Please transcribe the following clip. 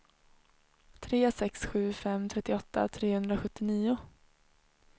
tre sex sju fem trettioåtta trehundrasjuttionio